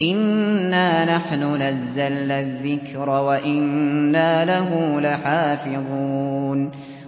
إِنَّا نَحْنُ نَزَّلْنَا الذِّكْرَ وَإِنَّا لَهُ لَحَافِظُونَ